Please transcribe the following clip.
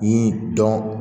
Ni dɔn